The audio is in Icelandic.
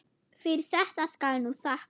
Fyrir þetta skal nú þakkað.